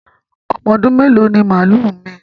Ọmọ ọdún mèló ní màlúù Omí?